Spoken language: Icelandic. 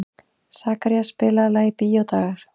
Sakarías, spilaðu lagið „Bíódagar“.